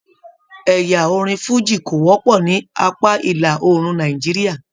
Ẹyà orin fújì ko wọpọ ní apá ìlà oòrùn Nàìjíríà.